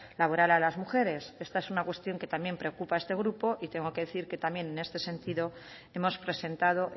laboral a las mujeres esta es una cuestión que también preocupa a este grupo y tengo que decir también que en este sentido hemos presentado